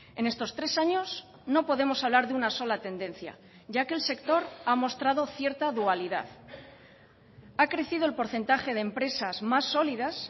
en estos tres años no podemos hablar de una sola tendencia ya que el sector ha mostrado cierta dualidad ha crecido el porcentaje de empresas más sólidas